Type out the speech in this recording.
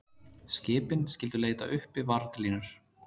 Skipin skyldu leita uppi varðlínur